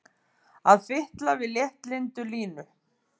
Að fitla við léttlyndu Línu!